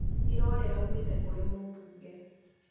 irũa rĩraumĩte kũrĩ mũmbunge